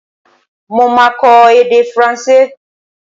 Mo máa kọ èdè Faransé.